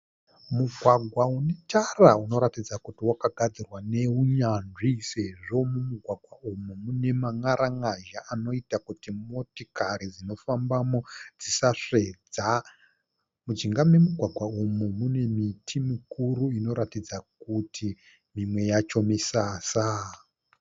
Mugwagwa unetara unoratidza kuti wakagadzirwa neunyanzvi sezvo mumugwagwa uyu mune man'aran'azha anoita kuti motikari dzinofambamo dzisasvedza. Mujinga memugwagwa umu mune miti mikuru inoratidza kuti mimwe yacho misasa.